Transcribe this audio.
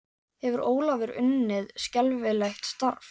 Hefur Ólafur unnið skelfilegt starf?